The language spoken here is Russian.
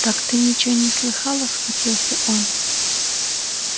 так ты ничего не слыхала схватился он